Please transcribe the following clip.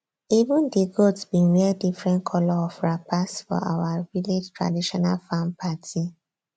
even di goats bin wear different colour of wrappers for our village traditional farm party